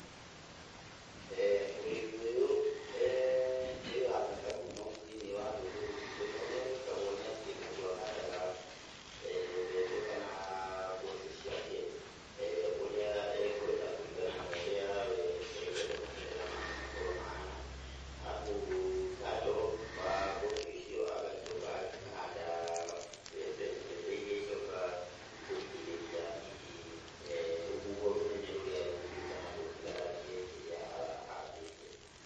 Ũrĩmi ũyũ nĩ wa bata mũno thĩiniĩ wa rũrĩrĩ rwitũ, na ũrĩa wikagwo nĩatĩ, mũndũ ahandaga mbembe kana mboco ciake ũrĩa ekwenda kũringana na ũrĩa wee ekwenda maumĩrĩra make makorwo mahana, arabu kando wa mboco icio agacoka akahanda mbembe, mbembe iria icokaga kũgirĩrĩria hihi rũhuho rũnene rũrĩa rũngĩũka rũthararie kĩrĩa ahandĩte.